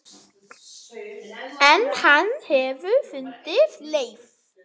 En hann hefur fundið leið.